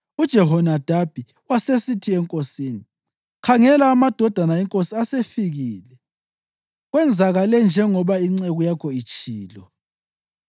UJehonadabi wasesithi enkosini, “Khangela, amadodana enkosi asefikile; kwenzakale njengoba inceku yakho itshilo.”